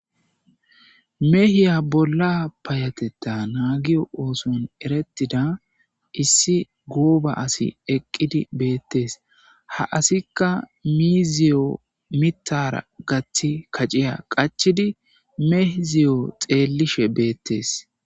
meehiya bolla payatetta naagiyo ooson erettida issi gooba asi eqqidi beettes ha asikka mizziyo mittaara gaththi kaciya qachchidi miizziyo xeelishe beettes.